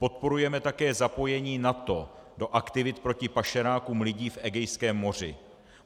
Podporujeme také zapojení NATO do aktivit proti pašerákům lidí v Egejském moři.